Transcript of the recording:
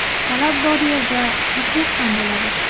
Talab bor yerda – taklif ham bo‘ladi!